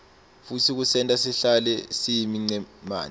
futsi kusenta sihlale siyimicemane